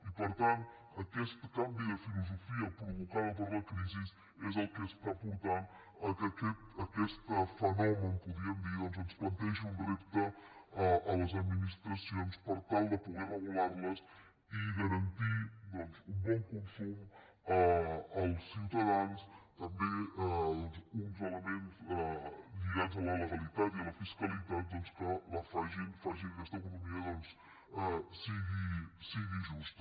i per tant aquest canvi de filosofia provocada per la crisi és el que es·tà portant que aquest fenomen podríem dir doncs ens plantegi un repte a les administracions per tal de poder regular·les i garantir un bon consum als ciuta·dans també doncs uns elements lligats a la legalitat i a la fiscalitat que facin que aquesta economia sigui justa